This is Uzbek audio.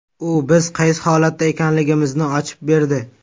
U biz qaysi holatda ekanligimizni ochib berdi.